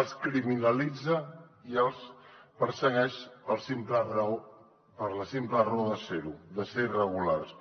els criminalitza i els persegueix per la simple raó de ser ho de ser irregulars